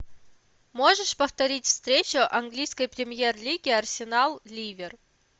можешь повторить встречу английской премьер лиги арсенал ливер